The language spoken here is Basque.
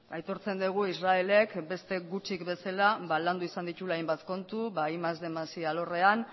aitortzen degu israelek beste gutxik bezala landu izan dituela hainbat kontu ba batgarren más bostehun más i alorrean